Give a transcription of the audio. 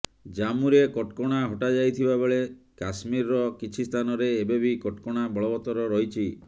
ଜାମ୍ମୁରେ କଟକଣା ହଟାଯାଇଥିବା ବେଳେ କାଶ୍ମୀରର କିଛି ସ୍ଥାନରେ ଏବେ ବି କଟକଣା ବଳବତ୍ତର ରହିଛି